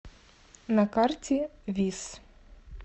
на карте вис